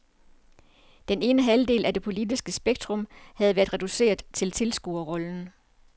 Den ene halvdel af det politiske spektrum havde været reduceret til tilskuerrollen.